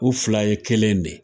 U fila ye kelen de ye.